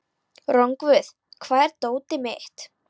Rongvuð, hvar er dótið mitt?